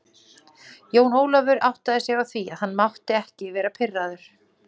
Jón Ólafur áttaði sig á því að hann mátti ekki vera pirraður.